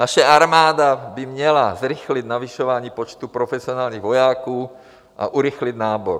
Naše armáda by měla zrychlit navyšování počtu profesionálních vojáků a urychlit nábor.